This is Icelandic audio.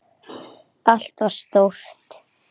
Allt var stórt.